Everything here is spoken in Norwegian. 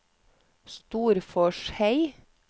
Storforshei